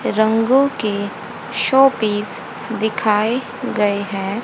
रंगों के show piece दिखाए गए है।